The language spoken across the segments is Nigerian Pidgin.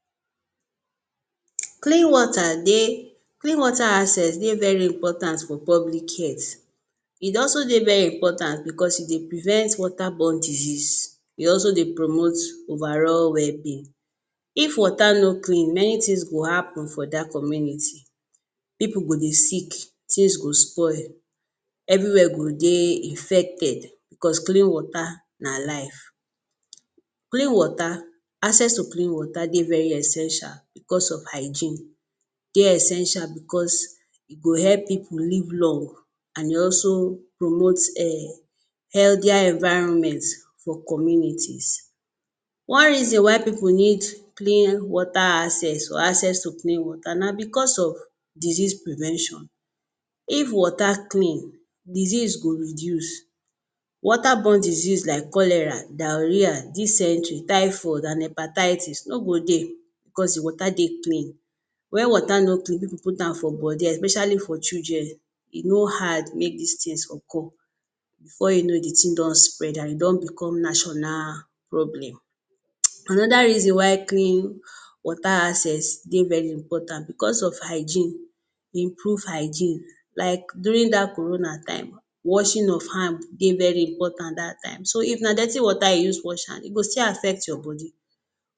HE00059 Clean water dey, clean water access dey very important for public health, e also dey very important because e dey prevent water borne disease, e also dey promote overall wellbeing. If water no clean many things go happen for that community, pipu go dey sick, things go spoil, everywhere go dey infected because clean water na life. Clean water, access to clean water dey very essential because of hygiene, dey essential because e go help pipu live long and e also promote healthier environment for communities. One reason why pipu need clean water access or access to clean water na because of disease prevention, if water clean, disease go reduce. Water borne disease like cholera, diarrhea, dysentery, typhoid and hepatitis no go dey because the water dey clean. When water no clean, if you put am for body especially for children, e no hard make these things occur, before you know the thing don spread and e don become national problem. Another reason why clean water access dey very important because of hygiene, improved hygiene like during that corona time, washing of hand dey very important at that time, so if na dirty water you use wash hand, e go still affect your body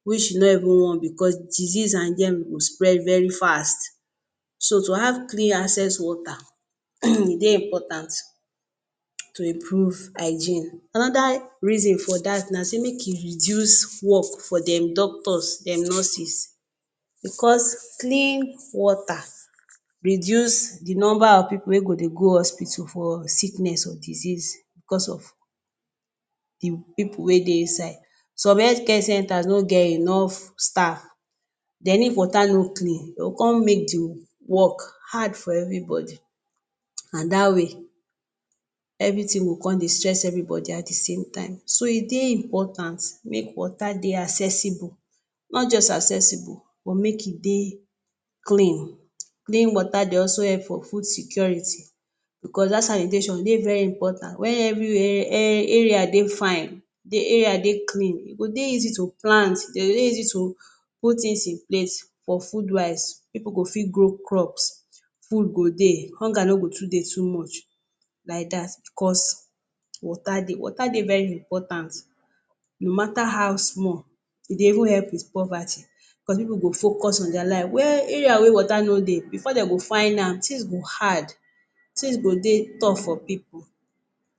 which you no even want because disease and germ go spread very fast, so to have clean access water dey important to improve hygiene. Another reason for that na say make e reduce work for dem doctors, dem nurses because clean water reduce the number of pipu wey go dey go hospital for sickness or disease because of the pipu wey dey inside. Some health care centers no get enough staff, dey need water no clean, den go con make the work hard for everybody and that way everything go con dey stress everybody at thesame time, so e dey important make water dey accessible, not just accessible but make e dey clean. Clean water dey also help for food security, because that sanitation dey very important, when everywhere area dey fine, the area dey clean, e go dey easy to plant, e go dey easy to put things in place for food wise, pipu go fi grow crops, food go dey, hunger no go too dey too much like that because water dey. Water dey very important no matter how small, e dey even help with poverty because pipu go focus on their life. Where area where water no dey, before den go find am, things go hard, things go dey tough for pipu.